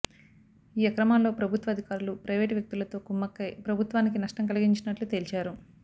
ఈ అక్రమాలలో ప్రభుత్వ అధికారులు ప్రైవేటు వ్యక్తులతో కుమ్మకై ప్రభుత్వానికి నష్టం కలిగించినట్లు తేల్చారు